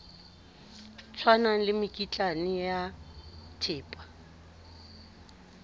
tshwanang le mekitlane ya thepa